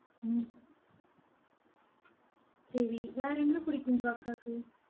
ஹம் சரி வேற என்ன பிடிக்கும் உங்க அக்காக்கு